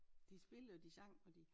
De spillede og de sang og de